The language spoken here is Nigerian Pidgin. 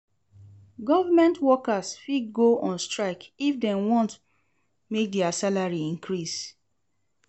Government workers fit go on strike if dem won make their salary increase